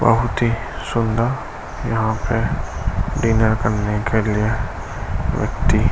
बहुत ही सुंदर यहाँ पे डिनर करने के लिए व्यक्ति